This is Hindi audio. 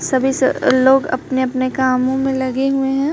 सभी लोग अपने अपने कामों में लगे हुए है।